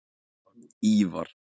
Ívar